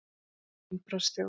Eins og innbrotsþjófur!